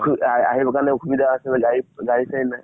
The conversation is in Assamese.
সু আহি আহিবৰ কাৰণে অসুবিধা আছিলে, গাড়ী গাড়ী চাৰি নাই।